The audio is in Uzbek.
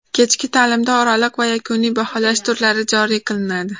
Kechki ta’limda oraliq va yakuniy baholash turlari joriy qilinadi.